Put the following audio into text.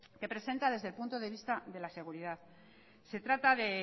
que presenta desde el punto de vista de la seguridad se trata de